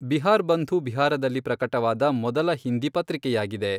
ಬಿಹಾರ್ ಬಂಧು ಬಿಹಾರದಲ್ಲಿ ಪ್ರಕಟವಾದ ಮೊದಲ ಹಿಂದಿ ಪತ್ರಿಕೆಯಾಗಿದೆ.